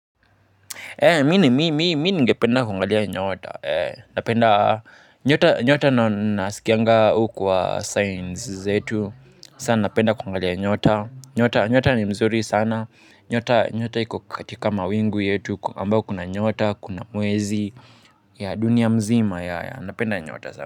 Mimi ningependa kuangalia nyota, napenda nyota na nasikianga hukuwa signs zetu, sasa napenda kuangalia nyota, nyota ni mzuri sana, nyota iko katika mawingu yetu, ambayo kuna nyota, kuna mwezi, ya dunia mzima ya, napenda nyota za.